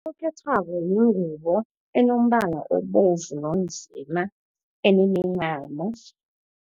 Unokhethwabo yingubo enombala obovu nonzima enemincamo.